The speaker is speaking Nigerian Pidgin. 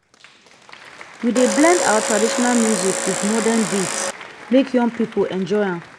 we dey blend our traditional music wit modern beats make young pipo enjoy am.